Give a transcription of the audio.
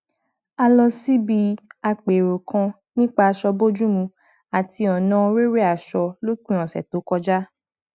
a lọ síbi àpérò kan nípa aṣọ bójúmu àti ọnà rere aṣọ lópin ọsẹ tó kọjá